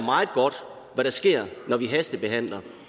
hvad der sker når vi hastebehandler